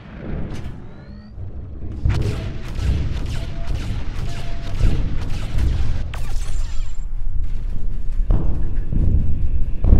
пятьсот двенадцать девятьсот шестьдесят двадцать шесть девяносто девять